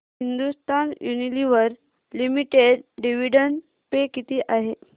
Hindustan Unilever limited dividend pay किती आहे